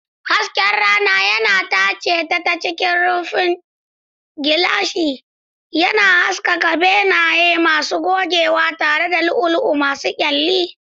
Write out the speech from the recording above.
Hasken rana yana tace ta cikin rufin gilashi, yana haskaka benaye masu gogewa tare da lu'ulu'u masu kyalli.